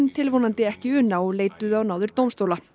tilvonandi ekki una og leituðu á náðir dómstóla